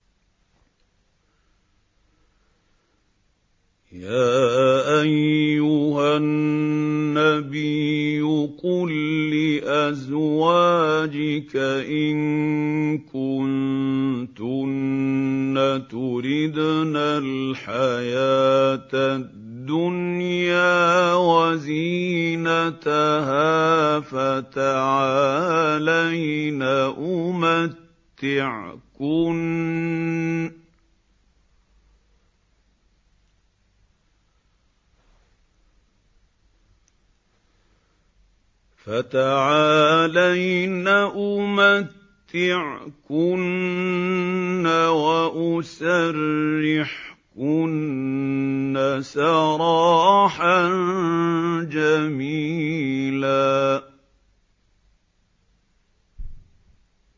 يَا أَيُّهَا النَّبِيُّ قُل لِّأَزْوَاجِكَ إِن كُنتُنَّ تُرِدْنَ الْحَيَاةَ الدُّنْيَا وَزِينَتَهَا فَتَعَالَيْنَ أُمَتِّعْكُنَّ وَأُسَرِّحْكُنَّ سَرَاحًا جَمِيلًا